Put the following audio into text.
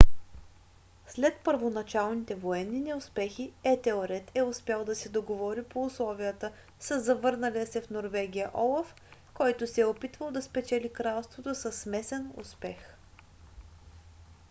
след първоначалните военни неуспехи етелред е успял да се договори по условията със завърналия се в норвегия олаф който се е опитвал да спечели кралството със смесен успех